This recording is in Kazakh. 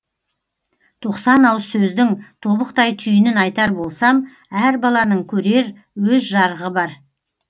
тоқсан ауыз сөздің тобықтай түйінін айтар болсам әр баланың көрер өз жарығы бар